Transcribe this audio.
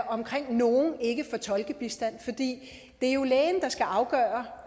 omkring at nogle ikke får tolkebistand for det er jo lægen der skal afgøre